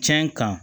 Cɛn kan